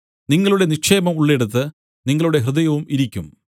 നിങ്ങളുടെ നിക്ഷേപം ഉള്ളിടത്ത് നിങ്ങളുടെ ഹൃദയവും ഇരിക്കും